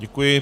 Děkuji.